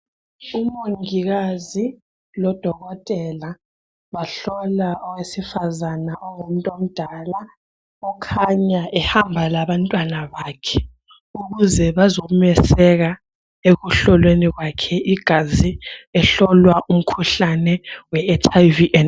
Umongikazi loDokotela bahlola owesifazana ongumuntomdala. Ukhanya ehamba labantwabakhe ukuze abazomeseka ekuhlolweni kwakhe igazi. Uhlolwa umkhuhlane weHIV.